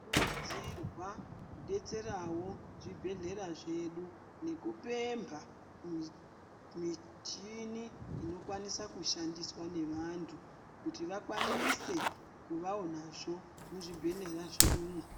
Kurudzirwa kudetserawo zvibhehlera zvedu nekupemba michini inokwaniswa kushandiswa nevantu kuti vakwanise kuvavo nazvo muzvibhehlera zvedumwo.